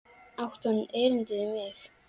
Átti hann erindi við mig?